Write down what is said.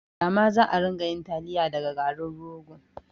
Dama za'a rika yin taliya daga garin rogo